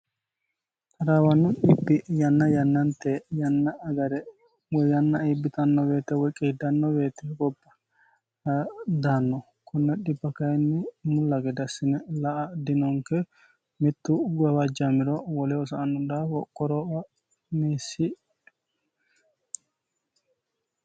Taraawanno dhibi yanna yannante yanna agare woy yanna iibbitanno woyite woy qiidanno woyete goba daanno konne dhiba mulla gede assine la'a dinonke mittu gabajjaamiro woleho sa'anno daafo qorowo meessi.